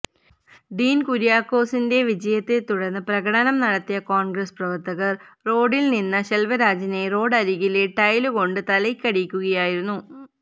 ഡീൻ കുര്യാക്കോസിന്റെ വിജയത്തെ തുടർന്ന് പ്രകടനം നടത്തിയ കോൺഗ്രസ് പ്രവർത്തകർ റോഡിൽ നിന്ന ശെൽവരാജിനെ റോഡരികിലെ ടൈലുകൊണ്ട് തലയ്ക്കടിക്കുകയായിരുന്നു